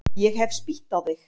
Ég hef spýtt á þig.